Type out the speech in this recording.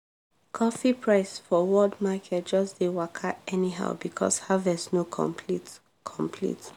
coffee price for world market just dey waka anyhow because harvest no complete. complete.